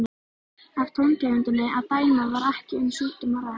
Af tóntegundinni að dæma var ekki um sjúkdóm að ræða.